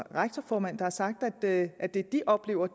rektorformand der har sagt at at det de oplever